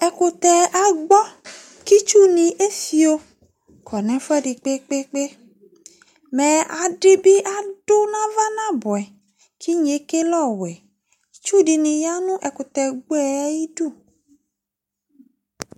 ɛƙutɛ aɠɓɔ itsuwani efio konefuedi kpekpekpe mɛ adibi adunavaƙƥanabué ƙiɠnekeleowé ediniyanu ekutɛgboyɛ ayidu